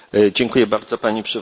Pani Przewodnicząca!